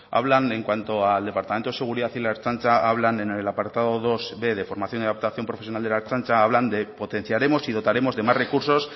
hablan en cuanto al departamento de seguridad y la ertzaintza hablan en el apartado dosb de formación y adaptación profesional de la ertzaintza hablan de potenciaremos y dotaremos de más recursos